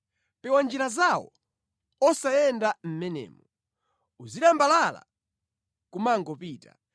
Pewa njira zawo, usayende mʼmenemo; uzilambalala nʼkumangopita.